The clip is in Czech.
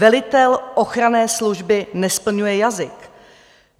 Velitel ochranné služby nesplňuje jazyk.